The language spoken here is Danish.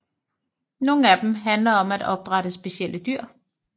Nogle af dem handler om at opdrætte specielle dyr